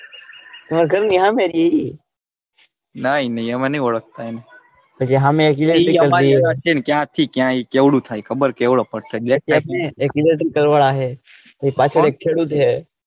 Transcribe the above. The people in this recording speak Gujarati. ગાર ની હમે હતી એ રઇ ના એ નઈ અમે નઈ ઓળખતા એને ક્યાંથી ક્યાં કેવડું થાય એ ખબર કે પાછળ એક ખેડૂત હે.